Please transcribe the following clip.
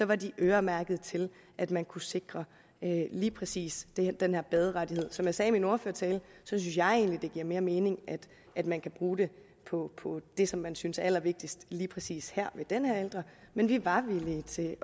var de øremærket til at man kunne sikre lige præcis den her baderettighed som jeg sagde i min ordførertale synes jeg egentlig at det giver mere mening at man kan bruge det på det som man synes er allervigtigst lige præcis her men vi var villige til